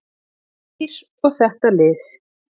Geir og þetta lið.